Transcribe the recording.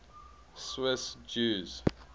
swiss jews